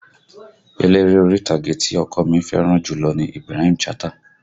Eléré orí ìtàgé tí ọkọ ọ mi fẹ́ràn jùlọ ni Ibrahim Chatta